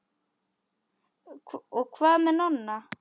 Og hvað með Nonna?